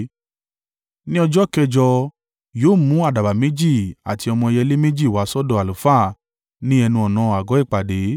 Ní ọjọ́ kẹjọ, yóò mú àdàbà méjì àti ọmọ ẹyẹlé méjì wá sọ́dọ̀ àlùfáà ní ẹnu-ọ̀nà àgọ́ ìpàdé.